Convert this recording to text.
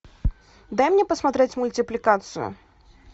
дай мне посмотреть мультипликацию